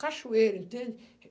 Cachoeira, entende?